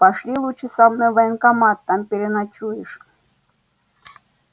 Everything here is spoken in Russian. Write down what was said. пошли лучше за мной в военкомат там переночуешь